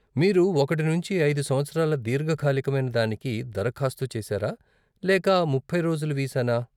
మీరు ఒకటి నుండి ఐదు సంవత్సరాల దీర్ఘకాలికమైన దానికి దరఖాస్తు చేసారా లేక ముప్పై రోజుల వీసానా?